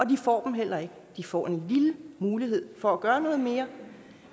de får dem heller ikke de får en lille mulighed for at gøre noget mere